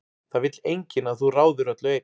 Það vill enginn að þú ráðir öllu einn.